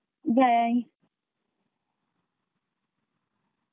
Bye.